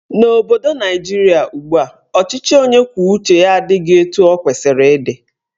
N'obodo Naijiria ugbua, ọchịchị onye kwuo uche ya adịghị etu ọ kwesịrị ịdị.